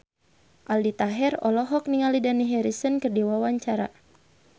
Aldi Taher olohok ningali Dani Harrison keur diwawancara